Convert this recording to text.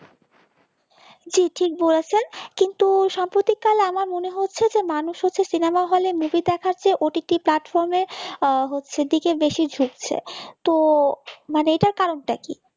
জি ঠিক বলেছেন কিন্তু সম্প্রতিককাল আমার মনে হচ্ছে যে মানুষের যে cinema হলে movie দেখার চেয়ে ott platform এ হচ্ছে দিকে বেশি ঝুঁকছে তো মানে এটার কারণটা কি